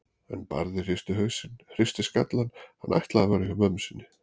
En Barði hristi hausinn, hristi skallann, hann ætlaði að vera hjá mömmu sinni.